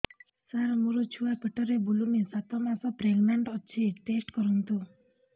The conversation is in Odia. ସାର ମୋର ଛୁଆ ପେଟରେ ବୁଲୁନି ସାତ ମାସ ପ୍ରେଗନାଂଟ ଅଛି ଟେଷ୍ଟ କରନ୍ତୁ